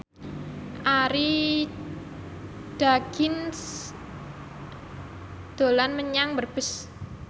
Arie Daginks dolan menyang Brebes